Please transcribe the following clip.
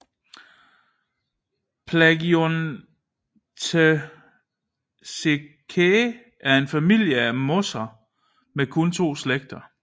Plagiotheciaceae er en familie af mosser med kun to slægter